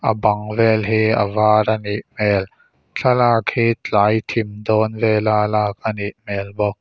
a bang vêl hi a vâr a nih hmêl thlalak hi tlai thim dâwn vela lâk a ni hmêl bawk.